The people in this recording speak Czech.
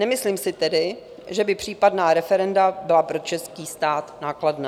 Nemyslím si tedy, že by případná referenda byla pro český stát nákladná.